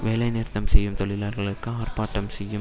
வேலை நிறுத்தம் செய்யும் தொழிலாளர்களுக்கு ஆர்ப்பாட்டம் செய்யும்